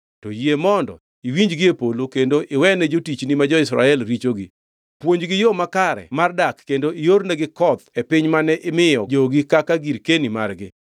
to yie mondo iwinjgi gie polo kendo iwene jotichni ma jo-Israel richogi. Puonjgi yo makare mar dak kendo iornegi koth e piny mane imiyo jogi kaka girkeni margi.